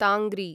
तांग्री